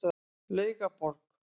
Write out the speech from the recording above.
Laugaborg